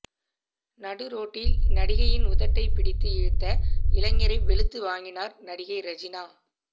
நடுரோட்டில் நடிகையின் உதட்டை பிடித்து இழுத்த இளைஞரை வெளுத்து வாங்கியுள்ளார் நடிகை ரெஜினா